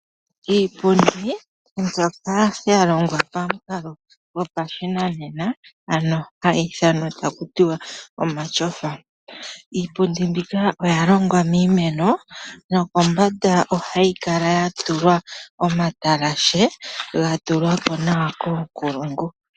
Iipundi mbyoka ya longwa pamukalo gopashinanena, ano hayi ithanwa taku ti wa omatyofa. Iipundi mbika oya longwa miimeno, nokombanda ohayi kala ya tulwa omatalashe gatulwa ko nawa koonkulungu.